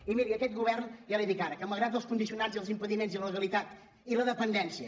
i miri aquest govern ja li dic ara que malgrat els condicionants i els impediments i la legalitat i la dependència